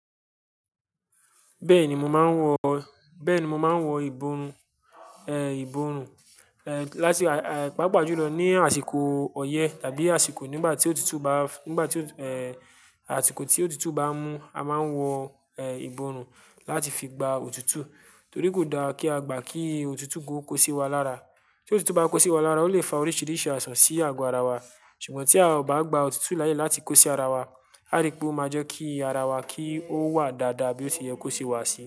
Bẹ́ẹ̀ni, mo máa ń wọ, bẹ́ẹ̀ni, mo máa ń wọ ìborùn, ẹ, ìborùn, ẹ, láti, à, pàápàá jùlọ ní àsìkò ọyẹ tàbí àsìkò nígbà tí òtútù bá, nígbà tí, ẹ, àsìkò tí òtútù bá mú, a máa ń wọ, ẹ, ìborùn láti fi gba òtútù. Torí kò da kí a gbà kí òtútù ko kó sí wa lára. Tí òtútù bá kó sí wa lára, ó lè fa oríṣìíríṣìí àìsàn sí àgọ́ ara wa. Ṣùgbọ́n tí a ò bá gba òtútù láàyè láti kó sí ara wa, a rí pé ó máa jẹ́ kí ara wa kí ó wà dáadáa bí ó ti yẹ kó ṣe wà sí.